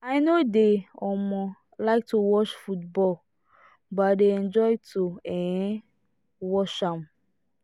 i no dey um like to watch football but i dey enjoy to um watch am